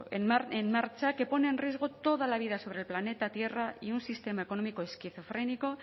en marcha que pone en riesgo toda la vida sobre el planeta tierra y un sistema económico esquizofrénico